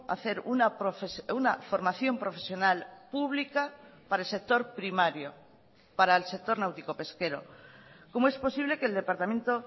hacer una formación profesional pública para el sector primario para el sector náutico pesquero cómo es posible que el departamento